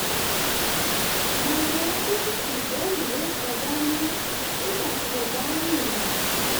mo máa ń mú ìwé ìwé kan dání nígbà tí mo bá ń rìnrìn àjò